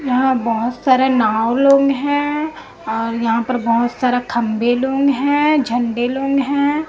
यहां बहुत सारा नाव लोंग हैं और यहां पर बहुत सारा खंभे लोंग हैं झंडे लोंग हैं।